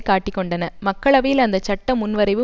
காட்டிக்கொண்டன மக்களவையில் அந்த சட்ட முன்வரைவு